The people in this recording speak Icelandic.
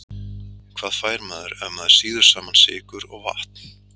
Hvað fær maður ef maður sýður saman sykur og vatn?